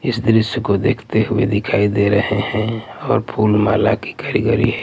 इस द्रश्य को देखते हुए दिखाई दे रहे हैं और फूल माला की कारीगरी --